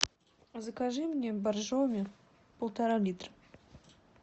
закажи мне боржоми полтора литра